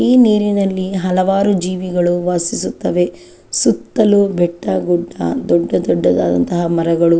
ಈ ನೀರಿನಲ್ಲಿ ಹಲವಾರು ಜೀವಿಗಳು ವಾಸಿಸುತ್ತವೆ ಸುತ್ತಲೂ ಬೆಟ್ಟ ಗುಡ್ಡ ದೊಡ್ಡ ದೊಡ್ಡದಾನಂತಹ ಮರಗಳು --